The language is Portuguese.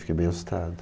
Fiquei bem assustado.